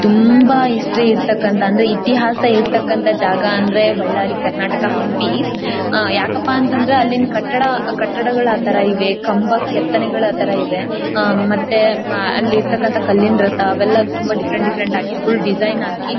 ತುಂಬ ಇಷ್ಟ ಇರ್ತಕನಂತಹ ಅಂದ್ರೆ ಇತಿಹಾಸ ಇರ್ತಕನಂತಹ ಜಾಗ ಅಂದ್ರೆ ಬಳ್ಳಾರಿ ಕರ್ನಾಟಕ ಹಂಪಿ. ಯಾಕಪ್ಪ ಅಂತಂದ್ರೆ ಅಲ್ಲಿನ ಕಟ್ಟಡ ಕಟ್ಟಡಗಳು ಆ ತರ ಇವೆ . ಕಂಬ ಕೆತ್ತನೆಗಳು ಆ ತರ ಇವೆ. ಅಲ್ಲಿ ಇರ್ತಕ್ಕಂತ ಕಲ್ಲಿನ ರಥ ಅವೆಲ್ಲ ತುಂಬ ಡಿಫೆರೆಂಟ್ ಡಿಫರೆಂಟ್ ಆಗಿ ಫುಲ್ ಡಿಸೈನ್ ಹಾಕಿ--